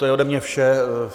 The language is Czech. To je ode mě vše.